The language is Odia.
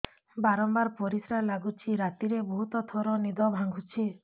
ବାରମ୍ବାର ପରିଶ୍ରା ଲାଗୁଚି ରାତିରେ ବହୁତ ଥର ନିଦ ଭାଙ୍ଗୁଛି